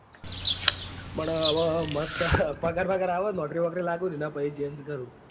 પણ હવે મસ્ત પગાર બગર આવે નોકરી વોકરી લાગુ ને એના પછી change કરું.